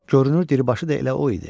Görünür dibaşı da elə o idi.